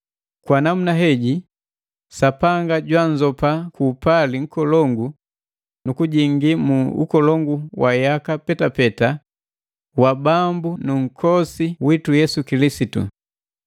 Kwa namuna heji Sapanga jwanzopa kuupali nkolongu nukujingi mu ukolongu wa yaka petapeta wa Bambu na Nkombosi witu Yesu Kilisitu.